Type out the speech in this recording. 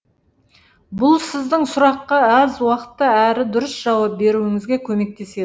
бұл сіздің сұраққа аз уақытта әрі дұрыс жауап беруіңізге көмектеседі